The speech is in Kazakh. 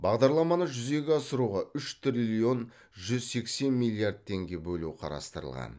бағдарламаны жүзеге асыруға үш триллион жүз сексен миллиард теңге бөлу қарастырылған